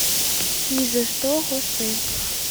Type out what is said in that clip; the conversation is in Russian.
ни за что хосе